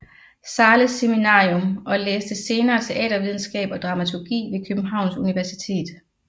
Zahles Seminarium og læste senere teatervidenskab og dramaturgi ved Københavns Universitet